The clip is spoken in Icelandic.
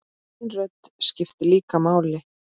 Þín rödd skiptir líka máli.